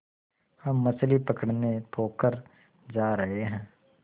हम मछली पकड़ने पोखर जा रहें हैं